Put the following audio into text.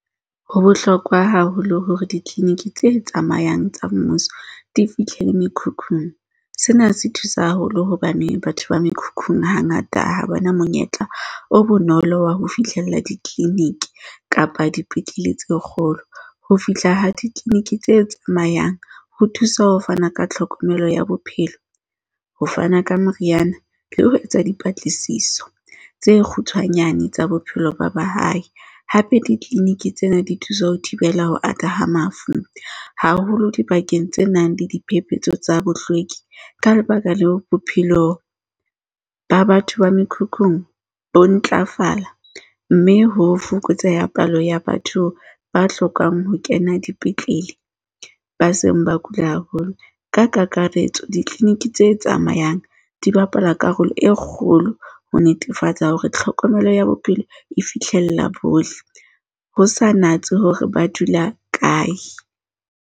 Ho bohlokwa haholo hore di-clinic tse tsamayang tsa mmuso di fihlele mekhukhung. Sena se thusa haholo hobane batho ba mekhukhung hangata ha ba na monyetla o bonolo wa ho fihlella di-clinic kapa dipetlele tse kgolo. Ho fihla ha di-clinic tse tsamayang ho thusa ho fana ka tlhokomelo ya bophelo, ho fana ka meriana le ho etsa dipatlisiso tse kgutshwanyane tsa bophelo ba ba hae. Hape, di-clinic tsena di thusa ho thibela ho ata ha mafu haholo dibakeng tse nang le diphephetso tsa bohlweki. Ka lebaka leo, bophelo ba batho ba mekhukhung bo ntlafala, mme ho fokotseha palo ya batho ba hlokang ho kena dipetlele ba seng ba kula haholo. Ka kakaretso, ditliliniki tse tsamayang di bapala karolo e kgolo ho netefatsa hore tlhokomelo ya bophelo e fihlella bohle, ho sa natse hore ba dula kae.